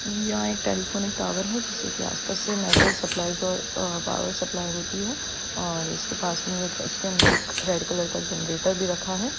यहाँ एक telephone tower है जिससे कि आसपास से network supplies uh power supply होती है और इसके पास में एक उसके अंदर एक रेड कलर का जनरेटर भी रखा है ।